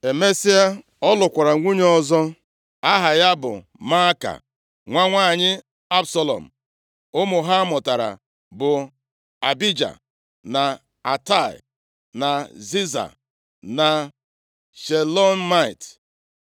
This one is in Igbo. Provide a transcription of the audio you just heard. Emesịa, ọ lụkwara nwunye ọzọ aha ya bụ Maaka, nwa nwanyị Absalọm. Ụmụ ha mụtara bụ Abija, na Atai, na Ziza, na Shelomit.